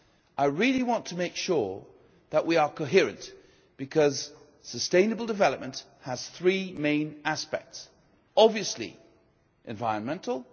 I really want to make sure that we are coherent, because sustainable development has three main aspects obviously environmental